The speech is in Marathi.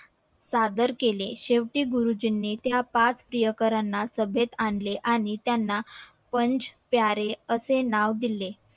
सादर केले शेवटी गुरुजींनी त्या पाच प्रियकरणा ला सभेत आणले आणि आणि त्याना पंच प्यारे असे नाव दिले